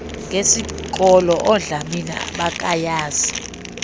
ngesikolo oodlamini abakayazi